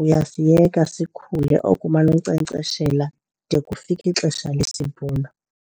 Uyasiyeka sikhule oko umane unkcenkceshela de kufike ixesha lesivuno.